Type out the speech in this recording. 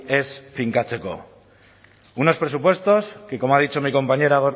ez finkatzeko unos presupuestos que como ha dicho mi compañera